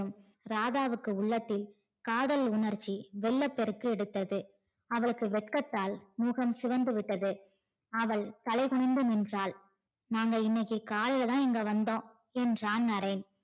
ராதாவுக்கு உள்ளத்தில் காதல் உணர்ச்சி வெள்ளம் பெருக்கெடுத்தது அவளுக்கு வெட்கத்தால் முகம் சிவந்து விட்டது அவள் தலை குனிந்து நின்றாள் நாங்க இன்னைக்கு காலையில தான் இங்க வந்தோம் என்றான் நரேன்